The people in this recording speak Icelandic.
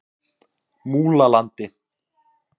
Múlalandi